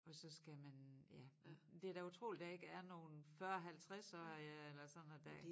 Og så skal man ja det da utroligt der ikke er nogen 40 halvtredsårige der sådan at der